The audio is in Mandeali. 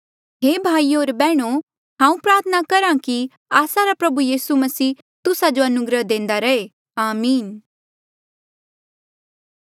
हे भाईयो होर बैहणो हांऊँ प्रार्थना करहा कि आस्सा रा प्रभु यीसू मसीह तुस्सा जो अनुग्रह देंदा रैहे आमीन